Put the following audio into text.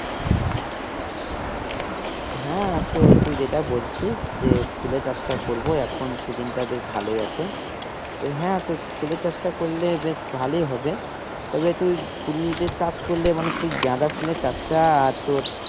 হ্যাঁ তো তুই যেটা বলছিস যে ফুলের চাষটা করবো এখন session টা বেশ ভালোই আছে তো হ্যাঁ তো ফুলের চাষটা করলে বেশ ভালোই হবে। তবে তুই ফুল যে চাষ করলে মানে তুই গাঁদা ফুলের চাষটা আর তোর